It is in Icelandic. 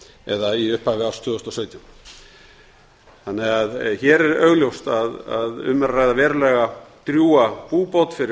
eða í upphafi árs tvö þúsund og sautján hér er augljóst að um er að ræða verulega drjúga búbót fyrir